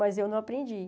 Mas eu não aprendi.